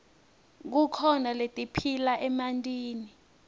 kukhona letiphila emantini